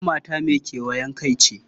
Hammata mai kewayen kai ce.